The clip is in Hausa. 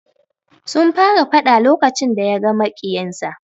Sun fara fada lokacin da yaga maƙiyinsa.